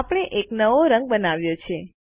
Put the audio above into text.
આપણે એક નવો રંગ બનાવ્યો છે